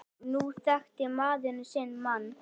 Nú þekkir maður sinn mann.